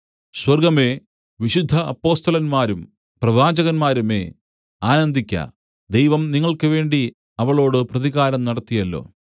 സ്വർഗ്ഗമേ വിശുദ്ധ അപ്പൊസ്തലന്മാരും പ്രവാചകന്മാരുമേ ആനന്ദിക്ക ദൈവം നിങ്ങൾക്കുവേണ്ടി അവളോട് പ്രതികാരം നടത്തിയല്ലോ